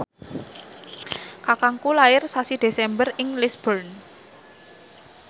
kakangku lair sasi Desember ing Lisburn